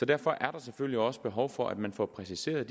derfor er der selvfølgelig også behov for at man får præciseret